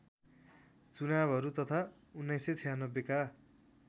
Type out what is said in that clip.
चुनावहरू तथा १९९६ का